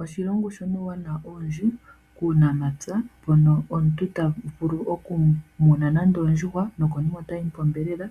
Oshilongo shina uuwanawa owundji kuunamapya mpono omuntu tavulu okumuna nande oondjuhwa nokonima otali po onyama,